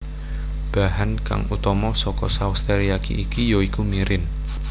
Bahan kang utama saka saos teriyaki iki ya iku mirin